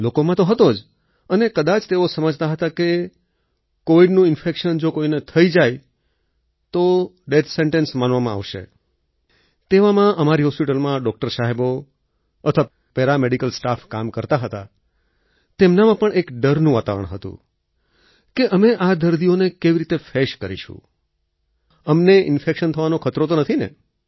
લોકોમાં તો હતો જ અને કદાચ તેઓ સમજતા હતા કે કોવિડનું ઈન્ફેક્શન જો કોઈને થઈ જાય તો ડેથ સેન્ટેન્સ માનવામાં આવશે અને તેવામાં અમારી હોસ્પિટલમાં ડોક્ટર સાહેબો અથવા પેરામેડિકલ સ્ટાફ કામ કરતા હતા તેમનામાં પણ એક ડરનું વાતાવરણ હતું કે અમે આ દર્દીઓને કેવી રીતે ફેસ કરીશું અમને ઈન્ફેક્શન થવાનો ખતરો તો નથી ને